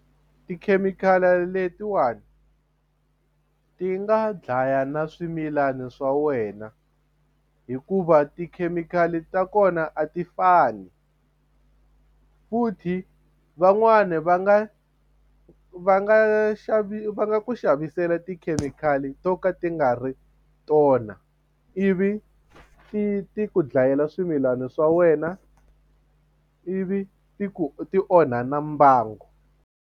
Tikhemikhali letiwani ti nga dlaya na swimilana swa wena hikuva tikhemikhali ta kona a ti fani futhi van'wani va nga va nga va nga ku xavisela tikhemikhali to ka ti nga ri tona ivi ti ti ku dlayela swimilana swa wena ivi ti ku ti onha na mbangu.